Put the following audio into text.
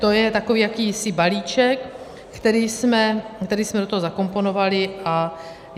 To je takový jakýsi balíček, který jsme do toho zakomponovali.